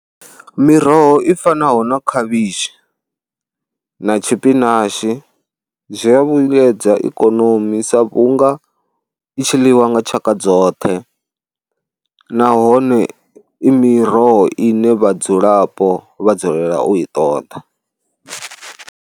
Miroho i fanaho na khavhishi na tshipinashi zwi a vhuyedza ikonomi sa vhunga i tshi ḽiwa nga tshaka dzoṱhe nahone i miroho ine vhadzulapo vha dzulela u i ṱoḓa.